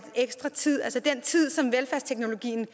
ekstra tid altså den tid som velfærdsteknologien